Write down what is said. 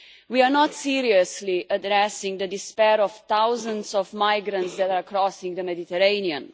We are not seriously addressing the despair of thousands of migrants that are crossing the Mediterranean.